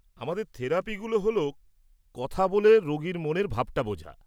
-আমাদের থেরাপিগুলো হল কথা বলে রোগীর মনের ভাবটা বোঝা।